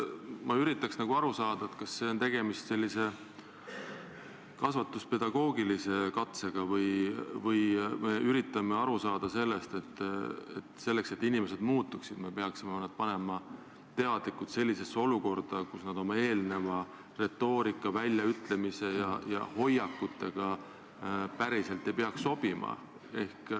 Ma üritan aru saada, kas siin on tegemist kasvatuspedagoogilise katsega, et me peaksime selleks, et inimesed muutuksid, nad teadlikult panema sellisesse olukorda, kuhu nad oma eelneva retoorika, väljaütlemiste ja hoiakute tõttu päriselt ei peaks sobima.